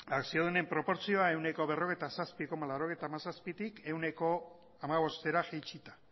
akziodunen proportzioa ehuneko berrogeita zazpi koma laurogeita hamazazpitik ehuneko hamabostera jaitsita